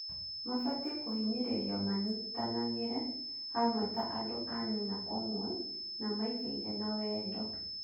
mabatie kũhinyĩrĩrio manyitanagĩre hamwe ta andũ a nyina ũmwe na maikare na wendo.